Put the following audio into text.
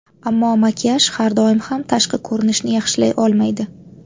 Ammo makiyaj har doim ham tashqi ko‘rinishni yaxshilay olmaydi.